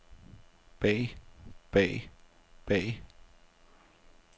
bag bag bag